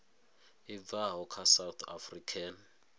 i bvaho kha south african